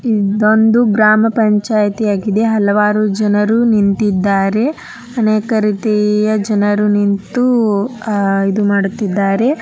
ಇದೊಂದು ಗ್ರಾಮ ಪಂಚಾಯತಿ ಆಗಿದೆ ಹಲವಾರು ಜನರು ನಿಂತಿದ್ದಾರೆ ಅನೇಕ ರೀತಿಯ ಜನರು ನಿಂತು ಆ--ಇದು ಮಾಡುತ್ತಿದ್ದಾರೆ .